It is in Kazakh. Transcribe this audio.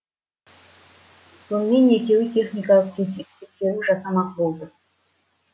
сонымен екеуі техникалық тексеру жасамақ болды